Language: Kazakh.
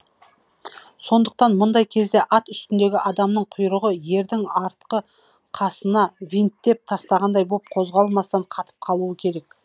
сондықтан мұндай кезде ат үстіндегі адамның құйрығы ердің артқы қасына винттеп тастағандай боп қозғалмастан қатып қалуы керек